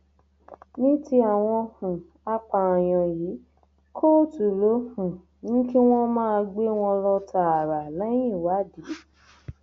ní ti àwọn um apààyàn yìí kóòtù ló um ní kí wọn máa gbé wọn lọ tààrà lẹyìn ìwádìí